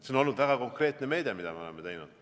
See on olnud väga konkreetne meede, mida me oleme teinud.